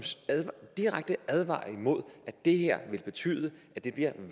direkte advarer imod det her ved at betyde at det bliver